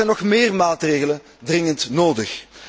Er zijn nog meer maatregelen dringend nodig.